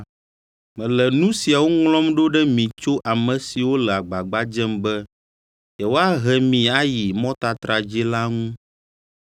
Mele nu siawo ŋlɔm ɖo ɖe mi tso ame siwo le agbagba dzem be yewoahe mi ayi mɔtatra dzii la ŋu.